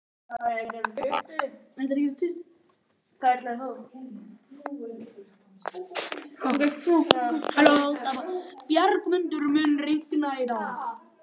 Bjargmundur, mun rigna í dag?